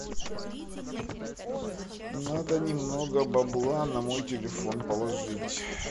надо немного бабла на мой телефон положить